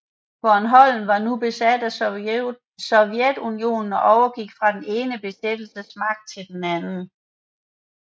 Bornholm var nu besat af Sovjetunionen og overgik fra den ene besættelsesmagt til den anden